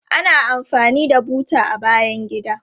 Ana amfani da buta a bayan gida.